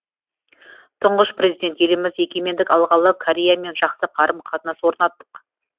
тұңғыш президент еліміз егемендік алғалы кореямен жақсы қарым қатынас орнаттық